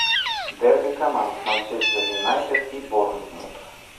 дерби команд манчестер юнайтед и борнмут